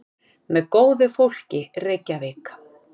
Með góðu fólki, Reykjavík.